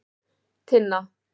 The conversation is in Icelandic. Tinna